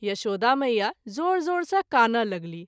यशोदा मैया ज़ोर ज़ोर सँ कानय लगलीह।